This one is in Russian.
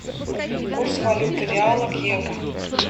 курс валюты реала к евро